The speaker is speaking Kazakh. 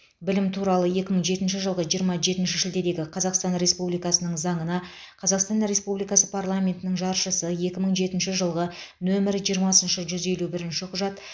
білім туралы екі мың жетінші жылғы жиырма жетінші шілдедегі қазақстан республикасының заңына қазақстан республикасы парламентінің жаршысы екі мың жетінші жылғы нөмірі жиырма жүз елу бірінші құжат